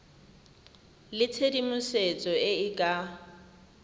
le tshedimosetso e e ka